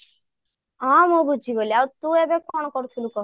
ହଁ ମୁଁ ବୁଝିଗଲି ଆଉ ତୁ ଏବେ କଣ କରୁଥିଲୁ କହ